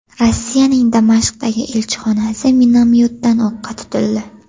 Rossiyaning Damashqdagi elchixonasi minomyotdan o‘qqa tutildi.